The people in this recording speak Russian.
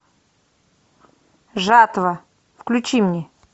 жатва включи мне